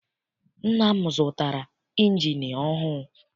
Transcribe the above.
Nna m zụtara injini ọhụụ.